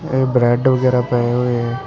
ਏ bread ਵਗੈਰਾ ਪਏ ਹੋਏ ਆ।